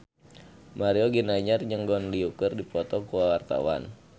Mario Ginanjar jeung Gong Li keur dipoto ku wartawan